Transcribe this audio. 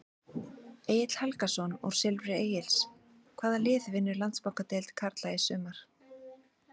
Egill Helgason úr Silfri Egils Hvaða lið vinnur Landsbankadeild karla í sumar?